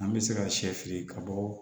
An bɛ se ka sɛ fili ka bɔ